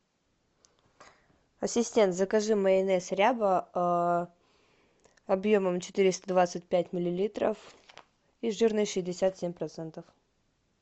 ассистент закажи майонез ряба объемом четыреста двадцать пять миллилитров и жирность шестьдесят семь процентов